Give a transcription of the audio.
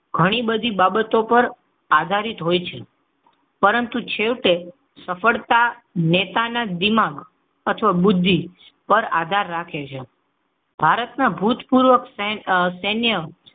ઘણી બધી બાબતો ઉપર આધારિત હોય છે. પરંતુ છેવટે સફળતાના નેતાના દિમાગ અથવા બુદ્ધિ પર આધાર રાખે છે. ભારતના ભૂતપૂર્વ સૈન્ય,